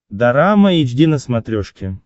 дорама эйч ди на смотрешке